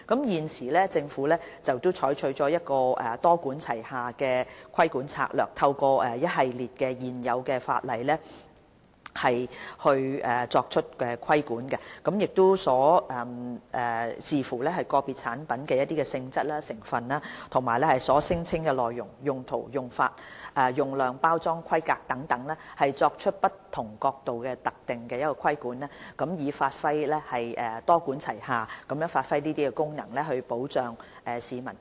現時，政府採取一個多管齊下的規管策略，透過一系列現有的法例作出規管，視乎個別產品的性質、成分、所聲稱的內容、用途、用法、用量、包裝規格等，從不同角度作出特定的規管，多管齊下地發揮功能，保障市民。